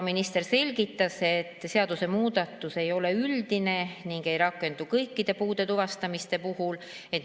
Minister selgitas, et seadusemuudatus ei ole üldine ning ei rakendu kõikide puuete tuvastamise puhul.